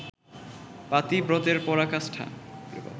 পাতিব্রতের পরাকাষ্ঠা